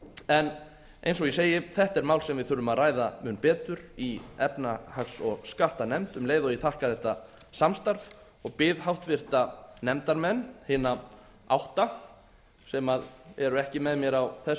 en eins og ég segi þetta er mál sem við þurfum að ræða mun betur í efnahags og skattanefnd um leið og ég þakka þetta samstarf og bið háttvirta nefndarmenn hina átta sem eru ekki með mér á þessu